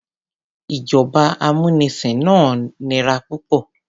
Ìjọba amúnisìn náà nira púpọ̀.